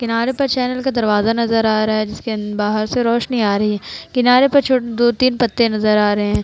किनारे पर चैनल का दरवाजा नजर आ रहा है। जिसके अ बाहर से रोशनी आ रही है। किनारे पर छो दो-तीन पत्ते नजर आ रहे हैं।